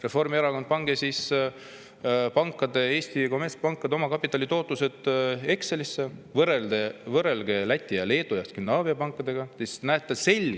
Reformierakond, pange Eesti kommertspankade omakapitali tootlused Excelisse ning võrrelge Läti, Leedu ja Skandinaavia pankade.